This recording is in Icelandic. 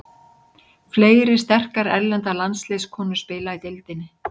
Fleiri sterkar erlendar landsliðskonur spila í deildinni.